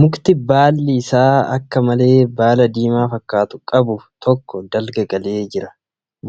Mukti baalli isaa akka malee baala diimaa fakkaatu qabu tokko dalga galee jira.